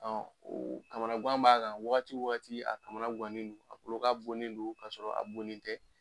kamana gan b'a kan wagati o wagati a kamana gannen don, a tulo ka bonnen donn k'a sɔrɔ a bonnen tɛ.